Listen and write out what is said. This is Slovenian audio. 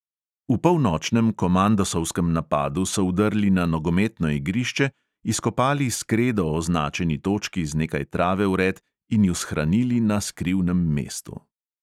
V polnočnem komandosovskem napadu so vdrli na nogometno igrišče, izkopali s kredo označeni točki z nekaj trave vred in ju shranili na skrivnem mestu.